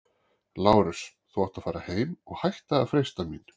LÁRUS: Þú átt að fara heim- og hætta að freista mín!